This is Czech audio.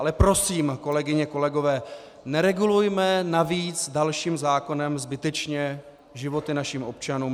Ale prosím, kolegyně, kolegové, neregulujme navíc dalším zákonem zbytečně životy našich občanů.